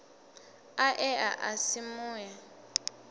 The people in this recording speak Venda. a ea a si mue